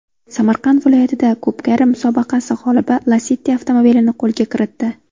Samarqand viloyatida ko‘pkari musobaqasi g‘olibi Lacetti avtomobilini qo‘lga kiritdi .